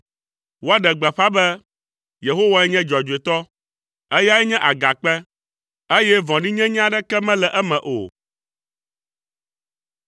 Woaɖe gbeƒã be, “Yehowae nye dzɔdzɔetɔ; eyae nye nye Agakpe, eye vɔ̃ɖinyenye aɖeke mele eme o.”